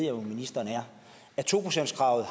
jo at ministeren er at to procentskravet